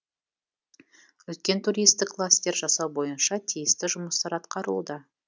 үлкен туристік кластер жасау бойынша тиісті жұмыстар атқарылуда